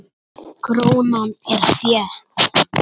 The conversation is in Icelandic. Krónan er þétt.